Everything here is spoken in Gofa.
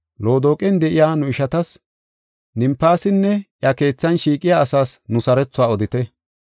Loodoqen de7iya nu ishatas, Nimfaasinne I keethan shiiqiya asaas nu sarothuwa odite.